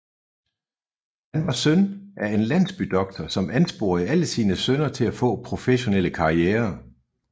Han var søn af en landsbydoktor som ansporede alle sine sønner til at få professionelle karrierer